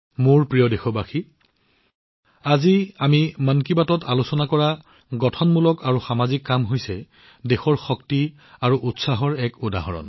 মোৰ মৰমৰ দেশবাসীসকল আজিৰ মন কী বাতত আমি আলোচনা কৰা দেশবাসীৰ সৃষ্টিশীল আৰু সামাজিক প্ৰচেষ্টা হৈছে দেশৰ শক্তি আৰু উৎসাহৰ উদাহৰণ